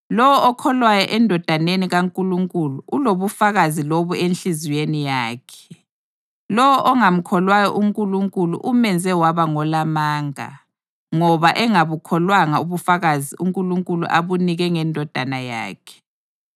Lowo okholwayo eNdodaneni kaNkulunkulu ulobufakazi lobu enhliziyweni yakhe. Lowo ongamkholwayo uNkulunkulu umenze waba ngolamanga ngoba engabukholwanga ubufakazi uNkulunkulu abunike ngeNdodana yakhe.